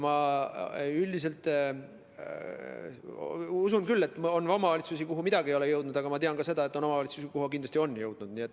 Ma üldiselt usun küll, et on omavalitsusi, kuhu midagi ei ole jõudnud, aga ma tean ka seda, et on omavalitsusi, kuhu maskid kindlasti on jõudnud.